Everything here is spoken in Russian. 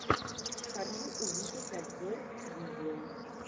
хочу увидеть обзор видео